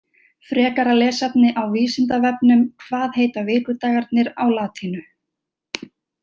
Frekara lesefni á Vísindavefnum Hvað heita vikudagarnir á latínu?